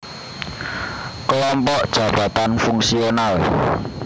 Kelompok Jabatan Fungsional